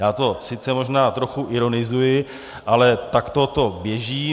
Já to sice možná trochu ironizuji, ale takto to běží.